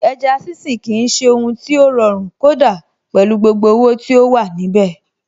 Ẹja sínsìn kì í ṣe ohun tí ó rọrùn kódà pẹ̀lú gbogbo owó tí ó wà níbẹ̀.